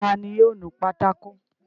Ta ni yóò nu pátákó?